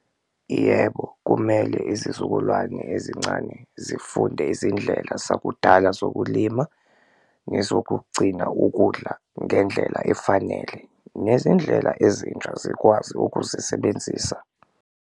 Yebo, kumele izizukulwane ezincane zifunde izindlela zakudala zokulima nezokugcina ukudla ngendlela efanele, nezindlela ezintsha zikwazi ukuzisebenzisa.